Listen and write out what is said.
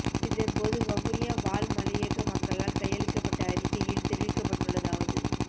இதன் போது வவுனியா வாழ் மலையக மக்களால் கையளிக்கப்பட்ட அறிக்கையில் தெரிவிக்கப்பட்டுள்ளதாவது